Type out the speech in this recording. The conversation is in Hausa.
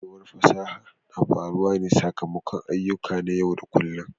Kwarewar fasaha na faruwa ne sakamakon ayyuka na yau da kullun.